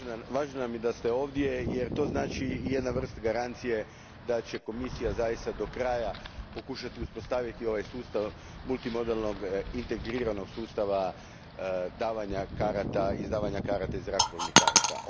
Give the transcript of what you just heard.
Važno nam je da ste ovdje jer to znači jednu vrstu garancije da će Komisija zaista do kraja pokušati uspostaviti ovaj sustav multimodalnog integriranog sustava izdavanja karata i zrakoplovnih karata.